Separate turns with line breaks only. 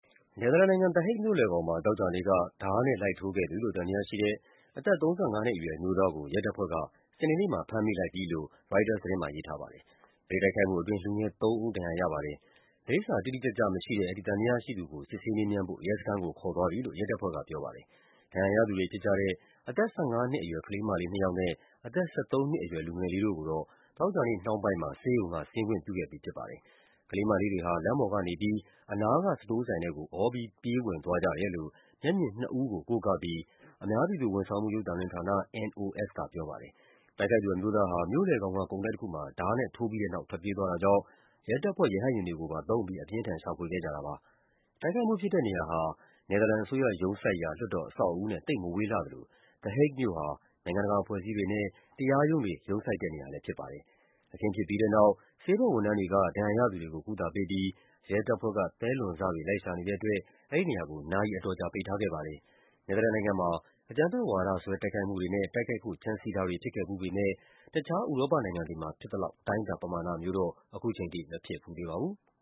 နယ်သာလန်နိုင်ငံ၊ The Hague မြို့လယ်ကောင်မှာ သောကြာနေ့က ဓားနဲ့လိုက်ထိုးခဲ့သူလို့ သံသယရှိတဲ့ အသက် ၃၅ နှစ်အရွယ် အမျိုးသားကို ရဲတပ်ဖွဲ့က စနေနေ့မှာ ဖမ်းမိလိုက်ပါပြီ။ အဲဒီတိုက်ခိုက်မှုအတွင်း လူငယ်သုံးဦး ဒဏ်ရာရပါတယ်။ လိပ်စာတိတိကျကျမရှိတဲ့ အဲဒီသံသယရှိသူကို စစ်ဆေးမေးမြန်းဖို့ ရဲစခန်းကို ခေါ်သွားတယ်လို့ ရဲတပ်ဖွဲ့က ပြောပါတယ်။ ဒဏ်ရာရသူတွေဖြစ်ကြတဲ့ အသက် ၁၅ နှစ်အရွယ် ကလေးမလေးနှစ်ယောက်နဲ့ အသက် ၁၃ နှစ်အရွယ် လူငယ်လေးတို့ကိုတော့ သောကြာနေ့နှောင်းပိုင်းမှာ ဆေးရုံက ဆင်းခွင့်ပြုခဲ့ပြီး ဖြစ်ပါတယ်။ ကလေးမလေးတွေဟာ လမ်းပေါ်ကနေပြီး အနားက စတိုးဆိုင်ထဲကို အော်ပြီး ပြေးဝင်သွားကြတယ်လို့ မျက်မြင်နှစ်ဦးကို ကိုးကားပြီး အများပြည်သူဝန်ဆောင်မှု ရုပ်သံလွှင့်ဌာန NOS က ပြောပါတယ်။ တိုက်ခိုက်သူအမျိုးသားဟာ မြို့လယ်ကောင်က ကုန်တိုက်တခုမှာ ဓားနဲ့ထိုးပြီးတဲ့နောက် ထွက်ပြေးသွားတာကြောင့် ရဲတပ်ဖွဲ့က ရဟတ်ယာဉ်တွေကိုပါသုံးပြီး အပြင်းအထန် ရှာဖွေခဲ့ကြတာပါ။ တိုက်ခိုက်မှုဖြစ်တဲ့နေရာဟာ နယ်သာလန်အစိုးရ ရုံးစိုက်ရာ လွှတ်တော်အဆောက်အဦနဲ့ သိပ်မဝေးလှသလို The Hague မြို့ဟာ နိုင်ငံတကာ အဖွဲ့အစည်းတွေနဲ့ တရားရုံးတွေ ရုံးစိုက်တဲ့နေရာလည်း ဖြစ်ပါတယ်။ အခင်းဖြစ်ပြီးတဲ့နောက် ဆေးဘက်ဝန်ထမ်းတွေက ဒဏ်ရာရသူတွေကို ကုသပေးပြီး ရဲတပ်ဖွဲ့က သဲလွန်စတွေ လိုက်ရှာနေတဲ့အတွက် အဲဒီနေရာကို နာရီအတော်ကြာ ပိတ်ထားခဲ့ပါတယ်။ နယ်သာလန်နိုင်ငံမှာ အကြမ်းဖက်ဝါဒစွဲ တိုက်ခိုက်မှုတွေနဲ့ တိုက်ခိုက်ဖို့ ကြံစည်တာတွေ ဖြစ်ခဲ့ဖူးပေမယ့် တခြား ဥရောပနိုင်ငံတွေမှာဖြစ်သလောက် အတိုင်းအတာ ပမာဏမျိုးလောက်တော့ ခုချိန်ထိ မဖြစ်ဖူးသေးပါဘူး။